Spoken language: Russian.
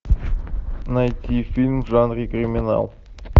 найти фильм в жанре криминал